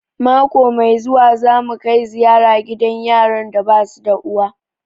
Mako mai zuwa za mu kai ziyara gidan yaran da basu da uwa